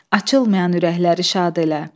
Açılmayan ürəkləri şad elə.